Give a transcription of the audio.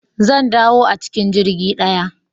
Zan dawo a cikin jirgi ɗaya